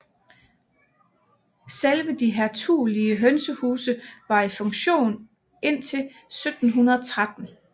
Selve de hertugelige hønsehuse var i funktion indtil 1713